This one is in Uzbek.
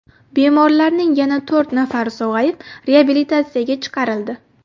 Bemorlarning yana to‘rt nafari sog‘ayib, reabilitatsiyaga chiqarildi .